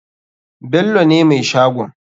Bello ne mai shagon.